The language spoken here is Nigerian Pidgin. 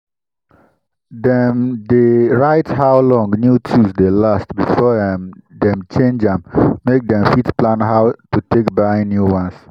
dem diy write how long new tools dey last before um dem change am make dem fit plan how to take buy new ones.